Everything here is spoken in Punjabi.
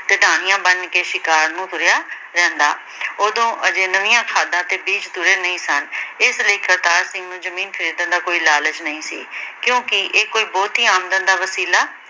ਬਣ ਕੇ ਸ਼ਿਕਾਰ ਨੂੰ ਤੁਰਿਆ ਰਹਿੰਦਾ। ਉਦੋਂ ਅਜੇ ਨਵੀਆਂ ਖਾਦਾਂ ਤੇ ਬੀਜ ਤੁਰੇ ਨਹੀਂ ਸਨ। ਇਸ ਲਈ ਕਰਤਾਰ ਸਿੰਘ ਨੂੰ ਜਮੀਨ ਖਰੀਦਣ ਦਾ ਕੋਈ ਲਾਲਚ ਨਹੀਂ ਸੀ ਕਿਉਂਕਿ ਇਹ ਕੋਈ ਬਹੁਤੀ ਆਮਦਨ ਦਾ ਵਸੀਲਾ